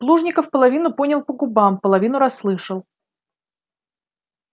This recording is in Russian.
плужников половину понял по губам половину расслышал